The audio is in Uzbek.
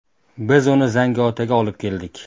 Biz uni Zangiotaga olib keldik.